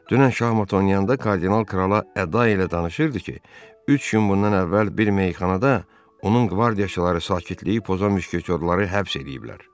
Dünən şahmat oynayanda kardinal krala əda ilə danışırdı ki, üç gün bundan əvvəl bir meyxanada onun qvardiyaçıları sakitliyi pozan müşketiyorları həbs eləyiblər.